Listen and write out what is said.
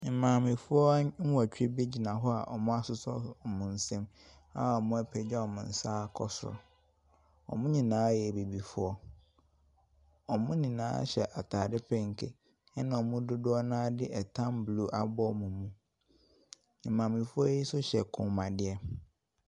Maamfoɔ nnwɔtwe bi gyina hɔ a wɔasosɔ wɔn nsam, a wɔapagya wɔn nsa kɔ soro. Wɔn nyinaa yɛ Abibifoɔ, wɔn nyinaa hyɛ ataade penke, ɛna wɔn mu dodoɔ no ara de ɛtam blue abɔ mu. Maamefoɔ yi nso hyɛ kɔnmuadeɛ.